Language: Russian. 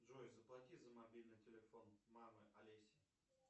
джой заплати за мобильный телефон мамы олеси